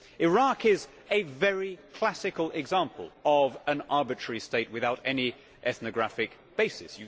Iraq is a very classic example of an arbitrary state without any ethnographic basis.